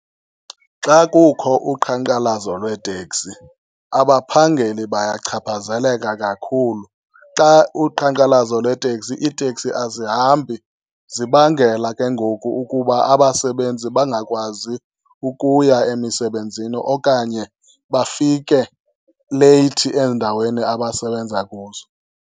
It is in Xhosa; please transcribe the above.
Xa kukho uqhankqalazo lweeteksi abaphangeli bayachaphazeleka kakhulu. Xa uqhankqalazo lweeteksi, iiteksi azihambi. Zibangela ke ngoku ukuba abasebenzi bangakwazi ukuya emisebenzini okanye bafike leyithi ezindaweni abasebenza kuzo.